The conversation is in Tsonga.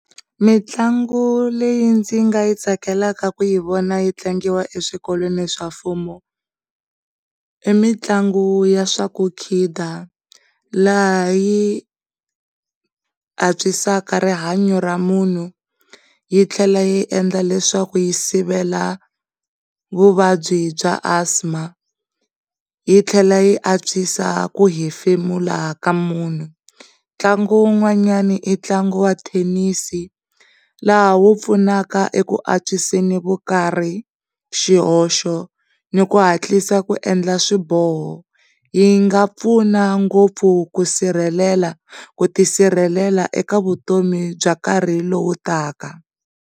Mintlangu leyi ndzi nga yi tsakelaka ku yi vona yi tlangiwa eswikolweni swa mfumo i mitlangu ya swa kukhida, laha yi antswisa rihanyo ra munhu, yitlhela yi endla leswaku yi sivela vuvabyi bya Asthma, yitlhela yi antswisa ku hefemula ka munhu, ntlangu wun'wanyani i ntlangu wa thenisi laha wu pfunaka eku antswiseni vukarhi, xihoxo, ni ku hantlisa ku endla swiboho yi nga pfuna ngopfu ku sirhelela, ku tisirhelela eka vutomi bya nkarhi lowu taka.